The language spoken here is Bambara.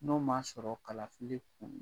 N'o m'a sɔrɔ kalafili kun